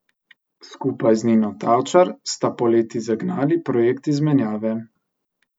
Skupaj z Nino Tavčar sta poleti zagnali projekt izmenjave.